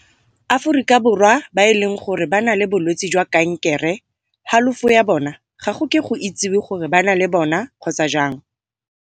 Aforika Borwa ba e leng gore ba na le bolwetse jwa kankere halofo ya bona ga go ke go itsiwe gore ba na le bona kgotsa jang.